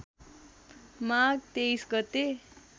माघ २३ गते